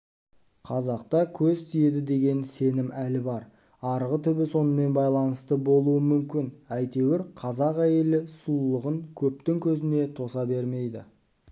қазақта көз тиеді деген сенім әлі бар арғы түбі сонымен байланысты болуы мүмкін әйтеуір қазақ әйелі сұлулығын көптің көзіне тоса бермейді